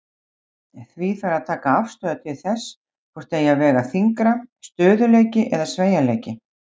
Því þarf að taka afstöðu til þess hvort eigi að vega þyngra, stöðugleiki eða sveigjanleiki.